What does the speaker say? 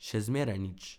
Še zmeraj nič.